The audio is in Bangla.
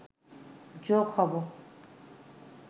যোগ হব